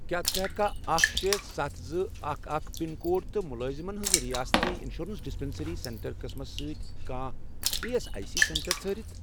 کیٛاہ ژٕ ہیٚککھا اکھ، شے، ستَھ، زٕ، اکَھ، اکَھ، پِن کوڈ تہٕ مُلٲزِمن ہِنٛز رِیٲستی اِنشورَنس ڈِسپیٚنٛسرٛی سینٹر قٕسمس سۭتۍ کانٛہہ E S I C centre ژھٲرِتھ؟